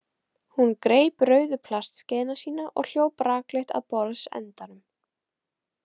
Hún greip rauðu plastskeiðina sína og hljóp rakleitt að borðsendanum.